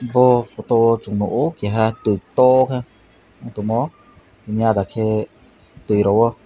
bo photo o chung nuko keiha twi koto khe ungtongmo teini adakhe twi rung o.